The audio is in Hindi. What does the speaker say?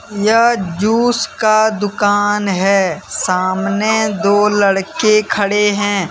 यह जूस का दुकान है सामने दो लड़के खड़े हैं।